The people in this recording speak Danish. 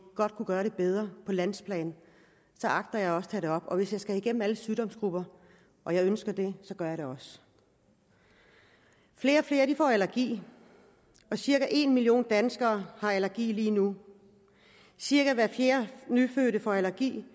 godt kunne gøre det bedre på landsplan så agter jeg også det op og hvis jeg skal igennem alle sygdomsgrupper og jeg ønsker det så gør jeg det også flere og flere får allergi cirka en million danskere har allergi lige nu cirka hver fjerde nyfødte får allergi